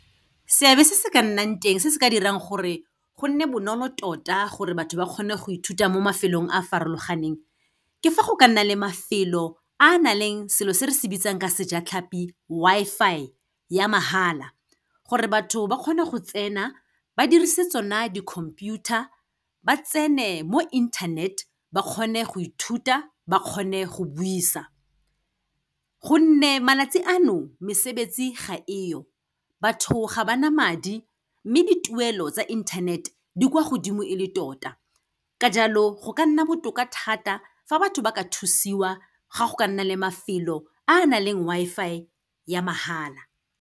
Seabe se se ka nnang teng, se se ka dirang gore go nne bonolo tota gore batho ba kgone go ithuta mo mafelong a farologaneng, ke fa go ka nna le mafelo a na leng selo se re se bitsang ka sejatlhapi Wi-Fi ya mahala, gore batho ba kgone go tsena, ba dirise tsona di-computer-a, ba tsene mo internet ba kgone go ithuta, ba kgone go buisa. Gonne malatsi ano, mesebetsi ga e yo, batho ga ba na madi, mme dituelo tsa internet, di kwa godimo e le tota, ka jalo go ka nna botoka thata fa batho ba ka thusiwa ga go ka nna le mafelo a nang le Wi-Fi ya mahala.